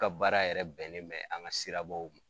An ka baara yɛrɛ bɛnnen bɛ an ka sirabaw